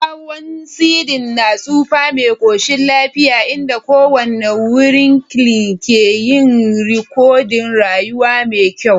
Kyakkyawan ceding na tsufa mai koshin lafiya, inda kowane wrinkle ke yin rikodin rayuwa mai kyau.